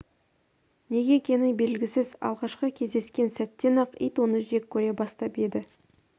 неге екені белгісіз алғашқы кездескен сәттен-ақ ит оны жек көре бастап еді